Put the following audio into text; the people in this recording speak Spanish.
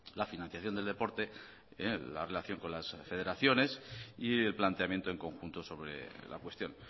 la financiación del deporte la relación con las federaciones y el planteamiento en conjunto sobre la cuestión